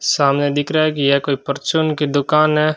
सामने दिख रहा है कि यह कोई परचून की दुकान है।